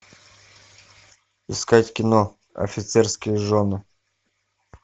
искать кино офицерские жены